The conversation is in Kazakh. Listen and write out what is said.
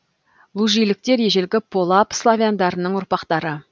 лужиліктер ежелгі полаб славяндарының ұрпақтары